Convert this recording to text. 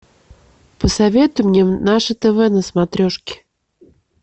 посоветуй мне наше тв на смотрешке